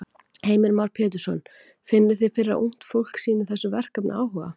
Heimir Már Pétursson: Finnið þið fyrir að ungt fólk sýnir þessu verkefni áhuga?